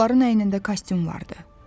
Onların əynində kostyum vardı.